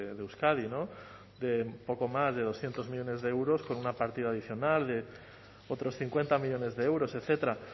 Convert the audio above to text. de euskadi de poco más de doscientos millónes de euros con una partida adicional de otros cincuenta millónes de euros etcétera